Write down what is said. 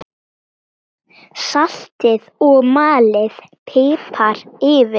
Saltið og malið pipar yfir.